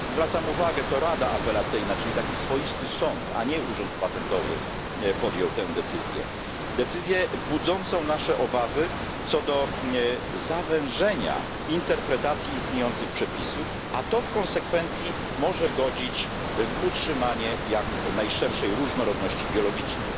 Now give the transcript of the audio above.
Zwracam uwagę, że to rada apelacyjna, czyli taki swoisty sąd, a nie urząd patentowy, podjął tę decyzję decyzję budzącą nasze obawy co do zawężenia interpretacji istniejących przepisów, co w konsekwencji może godzić w utrzymanie jak najszerszej różnorodności biologicznej.